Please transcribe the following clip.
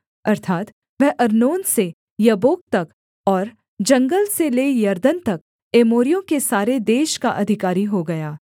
अर्थात् वह अर्नोन से यब्बोक तक और जंगल से ले यरदन तक एमोरियों के सारे देश का अधिकारी हो गया